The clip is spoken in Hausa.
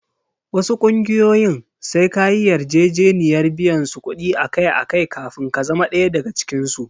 Wasu ƙungiyoyin sai ka yi yarjejeniyar biyan su kuɗi akai-akai kafin ka zama ɗaya daga cikinsu.